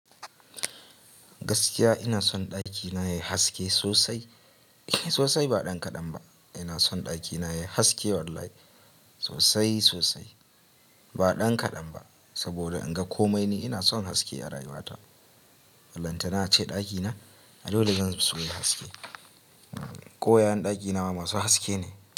Gaskiya ina son ɗakina yayi haske sosai, sosai ba ɗan kaɗan ba. Ina son ɗakina yayi haske wallahi sosai sosai ba ɗan kaɗan ba. Saboda in ga komai ni ina son haske a rayuwata. Ballantana ace ɗakina a dole zan so yayi haske. Koyayen ɗakina ma masu haske ne.